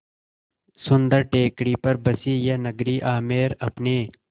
सुन्दर टेकड़ी पर बसी यह नगरी आमेर अपने